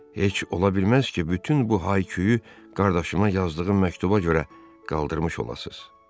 Heç ola bilməz ki, bütün bu hayküyü qardaşıma yazdığım məktuba görə qaldırmış olasız.